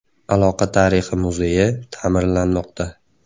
Aloqa tarixi muzeyi ta’mirlanmoqda.